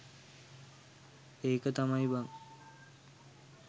ඒක තමයි බං